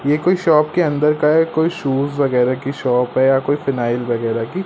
ये कोई शॉप के अंदर का है कोई शूज वगैरा की शॉप है या कोई फिनायल वगैरा की --